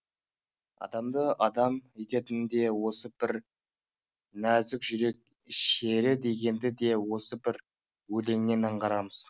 адамды адам ететін де осы бір нәзікжүрек шері дегенді де осы бір өлеңнен аңғарамыз